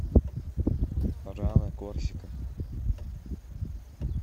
раны корсика